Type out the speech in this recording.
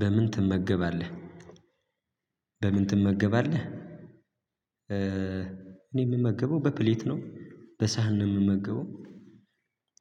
በምን ትመገባለህ በምን ትመገባለህ? እኔ የምመገበው በፕሌት ነው በሳህን ነው የምመገበው